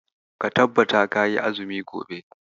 Ka tabbata kayi azumi gobe.